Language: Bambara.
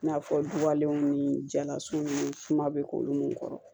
I n'a fɔ du ni jalasun ni suma be k'olu mun kɔrɔ